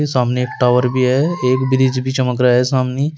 सामने एक टावर भी है एक ब्रिज भी चमक रहा है सामने।